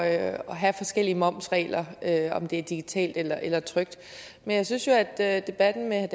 at have forskellige momsregler om det er digitalt eller eller trykt men jeg synes jo at at debatten med